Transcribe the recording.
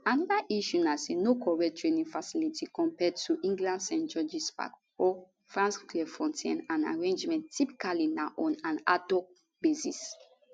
anoda issue na say no correct training facility compared to england st georges park or france clairefontaine and arrangements typically na on an adhoc basis